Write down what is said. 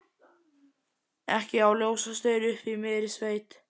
Ekki á ljósastaur uppi í miðri sveit.